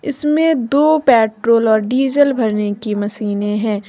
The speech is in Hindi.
इसमें दो पेट्रोल और डीजल भरने की मशीनें है।